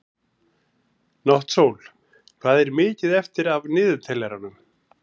Náttsól, hvað er mikið eftir af niðurteljaranum?